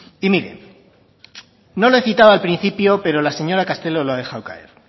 y mire no lo he citado al principio pero la señora castelo lo ha dejado caer